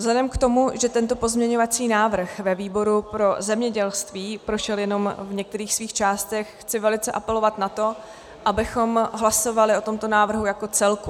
Vzhledem k tomu, že tento pozměňovací návrh ve výboru pro zemědělství prošel jenom v některých svých částech, chci velice apelovat na to, abychom hlasovali o tomto návrhu jako celku.